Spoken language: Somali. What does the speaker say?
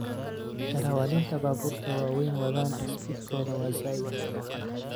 Darawalintaa buburta waweyn wadhan speedkodha wa zaid.